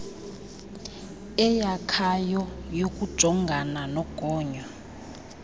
eyakhayo yokujongana nogonyo